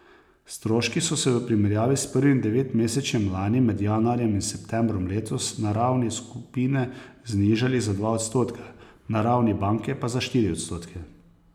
Stroški so se v primerjavi s prvim devetmesečjem lani med januarjem in septembrom letos na ravni skupine znižali za dva odstotka, na ravni banke pa za štiri odstotke.